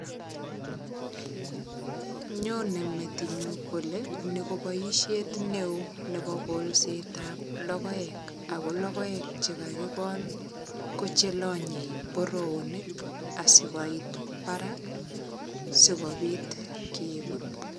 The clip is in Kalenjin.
Nyone metinyu kole ni ko boisiet neo nebo kolsetab logoek ago logoek che kagigol ko chelanye boroonik asigoit barak sigopit keput.